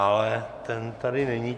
Ale ten tady není.